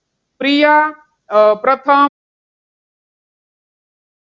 પ્રિયા આહ પ્રથમ